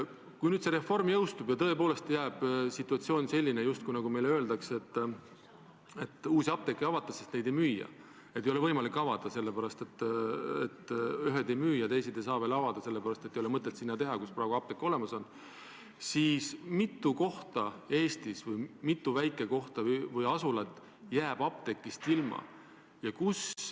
Kui see reform teoks saab ja tõepoolest on situatsioon selline, nagu meile öeldakse, et uusi apteeke ei avata, sest need ei müü – st ühtesid ei ole võimalik avada, sellepärast et need ei müü, ja teisi ei saa veel avada, sest apteeki pole mõtet teha sinna, kus see praegu juba olemas on –, siis mitu kohta Eestis, mitu väikekohta või asulat jääb apteegist ilma?